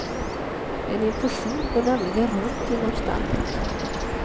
En infektion går nämligen runt inom stallet.